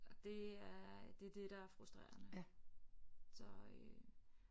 Og det er det er det der er frustrerende så øh